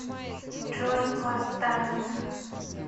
джой восстания